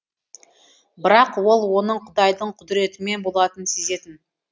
бірақ ол оның құдайдың құдіретімен болатынын сезетін